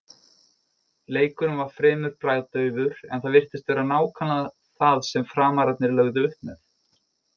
Leikurinn var fremur bragðdaufur en það virtist vera nákvæmlega það sem Framararnir lögðu upp með.